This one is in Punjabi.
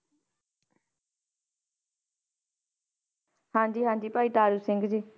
ਹਾਂਜੀ ਹਾਂਜੀ ਭਾਈ ਤਾਰੂ ਸਿੰਘ ਜੀ।